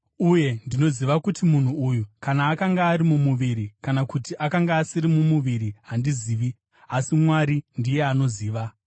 Uye ndinoziva kuti munhu uyu, kana akanga ari mumuviri kana kuti akanga asiri mumuviri handizivi, asi Mwari ndiye anoziva,